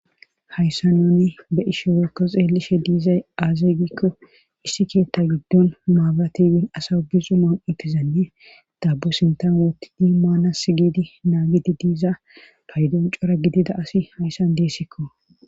Hayssa noni be ishe wekko xeelishe diizay aazeegikko issi keetta giddon maabatiwin asa ubixuman utizanne daabo sintan wootidi maana si gidi naagidi diiza paydon cora gidida asi hayssan deessikko.